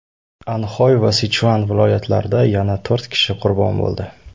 Anxoy va Sichuan viloyatlarida yana to‘rt kishi qurbon bo‘ldi.